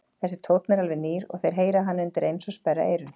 Þessi tónn er alveg nýr og þeir heyra hann undireins og sperra eyrun.